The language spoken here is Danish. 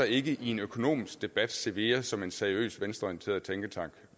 i en økonomisk debat cevea som en seriøs venstreorienteret tænketank